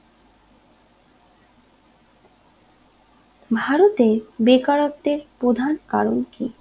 ভারতে বেকারত্বের প্রধান কারণ কি